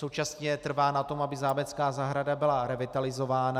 Současně trvá na tom, aby zámecká zahrada byla revitalizována.